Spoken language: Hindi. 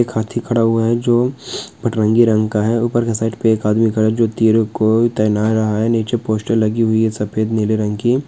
एक हथी खड़ा हुआ है जो अतरंगी का है जो हो ऊपर के साइड पर एक आदमी खड़ा जो रहा है नीचे पोस्टर लगी हुई है सफेदनीले रंग की।